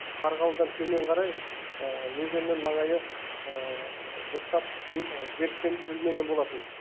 қарғалыдан төмен қарай өзеннің маңайы дұрыстап беріктендірілмеген болатын